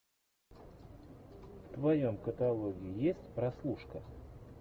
в твоем каталоге есть прослушка